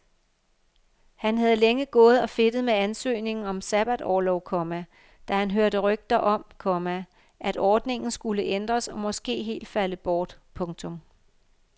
Han havde længe gået og fedtet med ansøgningen om sabbatorlov, komma da han hørte rygter om, komma at ordningen skulle ændres og måske helt falde bort. punktum